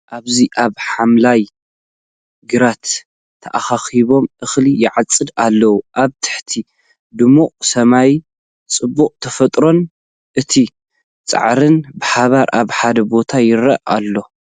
ኣብዚ ኣብ ሓምላይ ግራት ተኣኪቦም እኽሊ ይዓጽዱ ኣለው። ኣብ ትሕቲ ድሙቕ ሰማይ፡ ጽባቐ ተፈጥሮን እቲ ጻዕርን ብሓባር ኣብ ሓደ ቦታ ይርአ ኣሎ።